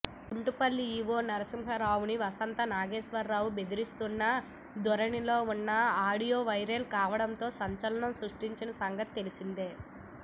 Guntupalli EO నరసింహారావును వసంత నాగేశ్వరరావు బెదిరిస్తున్న ధోరణిలో ఉన్న ఆడియో వైరల్ కావడం సంచలనం సృష్టించిన సంగతి తెలిసిందే